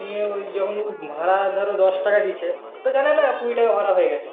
নিয়ে যখন ভাড়া দশ টাকা দিয়েছে কুড়ি টাকা ভাড়া হয়ে গাছে